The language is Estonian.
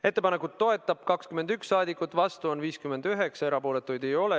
Ettepanekut toetab 21 rahvasaadikut, vastuolijaid on 59 ja erapooletuid ei ole.